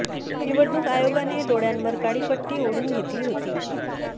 निवडणूक आयोगाने डोळ्यांवर काळी पट्टी ओढून घेतली होती